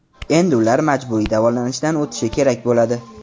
Endi ular majburiy davolanishdan o‘tishi kerak bo‘ladi.